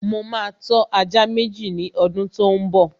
Mo ma tọ́ ajá Méjì ní ọdún tó ḿ bọ̀